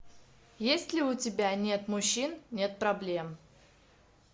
есть ли у тебя нет мужчин нет проблем